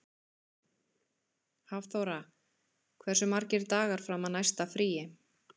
Hafþóra, hversu margir dagar fram að næsta fríi?